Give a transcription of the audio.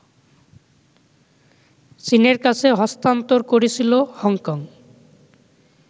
চীনের কাছে হস্তান্তর করেছিল হংকং